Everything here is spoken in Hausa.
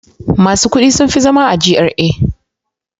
Masu kuɗi sun fi zama a GRA.